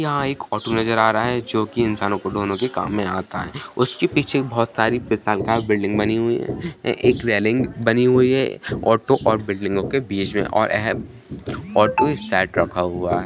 यहां एक ऑटो नजर आ रहा है जो की इंसानों को ढोने के काम में आता है उसके पीछे बहुत सारी विशाल काल बिल्डिंग बनी हुई है एक रैलिंग बनी हुई है ऑटो और बिल्डिंगों के बीच में और अह ऑटो सैट रखा हुआ है।